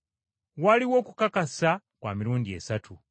Waliwo okukakasa kwa mirundi esatu: